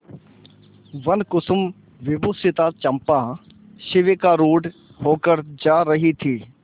वनकुसुमविभूषिता चंपा शिविकारूढ़ होकर जा रही थी